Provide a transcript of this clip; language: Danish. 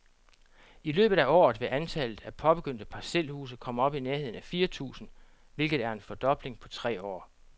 I løbet af året vil antallet af påbegyndte parcelhuse komme op i nærheden af fire tusind, hvilket er en fordobling på tre år.